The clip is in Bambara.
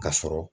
Ka sɔrɔ